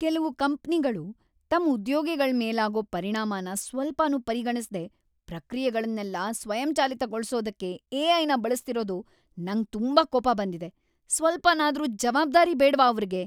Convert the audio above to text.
ಕೆಲ್ವು ಕಂಪ್ನಿಗಳು ತಮ್ ಉದ್ಯೋಗಿಗಳ್ ಮೇಲಾಗೋ ಪರಿಣಾಮನ ಸ್ವಲ್ಪನೂ ಪರಿಗಣಿಸ್ದೇ ಪ್ರಕ್ರಿಯೆಗಳ್ನೆಲ್ಲ ಸ್ವಯಂಚಾಲಿತಗೊಳ್ಸೋದಕ್ಕೆ ಎ.ಐ.ನ ಬಳಸ್ತಿರೋದು ನಂಗ್‌ ತುಂಬಾ ಕೋಪ ಬಂದಿದೆ. ಸ್ವಲ್ಪನಾದ್ರೂ ಜವಾಬ್ದಾರಿ ಬೇಡ್ವಾ ಅವ್ರಿಗೆ!